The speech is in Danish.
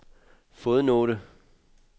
fodnote